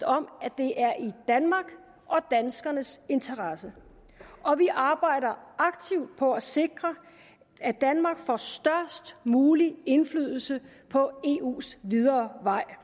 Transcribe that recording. om at det er i danmarks og danskernes interesse og vi arbejder aktivt på at sikre at danmark får størst mulig indflydelse på eus videre vej